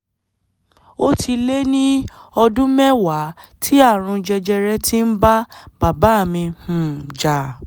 ó ti lé ní ọdún mẹ́wàá tí ààrùn jẹjẹrẹ ti ń bá bàbá mi um jà